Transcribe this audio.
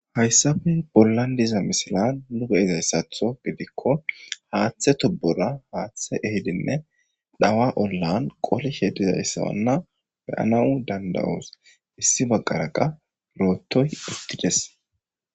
Haysappe bollan diza misilan nu beyozaysatho godiko hathe tubora hathe ehidinne zawa ollan qolishe dizaysanne beyanaw danda'os issi bagara qase rotoy uttides.